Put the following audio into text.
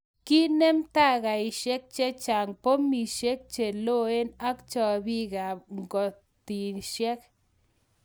konem tangaishek chechang, pomisieg cheloen ak chapiik ap ngotiseik